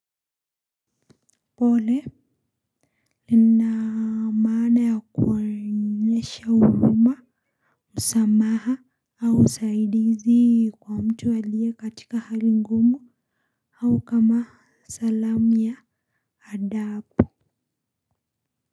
Pole lina maana ya kuonyesha huruma msamaha au usaidizi kwa mtu aliye katika hali ngumu au kama salamu ya adabu.